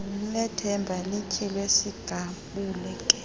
lethemba lityhile sigabuke